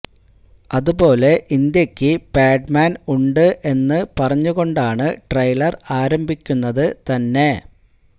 അതുപോലെ ഇന്ത്യയ്ക്ക് പാഡ്മാന് ഉണ്ട് എന്ന് പറഞ്ഞുകൊണ്ടാണ് ട്രെയിലര് ആരംഭിക്കുന്നത് തന്നെ